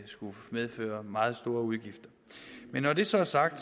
skulle medføre meget store udgifter men når det så er sagt